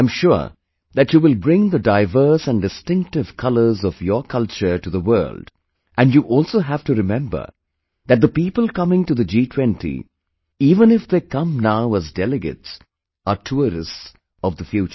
I am sure that you will bring the diverse and distinctive colors of your culture to the world and you also have to remember that the people coming to the G20, even if they come now as delegates, are tourists of the future